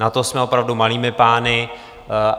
Na to jsme opravdu malými pány.